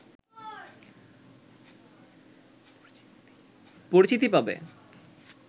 পরিচিতি পাবে